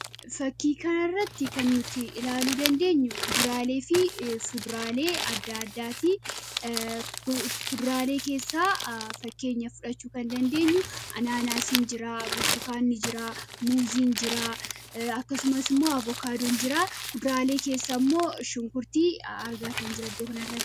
Fakii kana irratti kan nuti ilaaluu dandeenyu kuduraalee fi fuduraalee adda addaati. Fuduraalee keessaa fakkeenya fudhachuu kan dandeenyu anaanaasiin jiraa, burtukaanni jira, muuziin jiraa akkasumas immoo avukaadoon jiraa. Kuduraalee keessa immoo shunkurtii argaatan jira.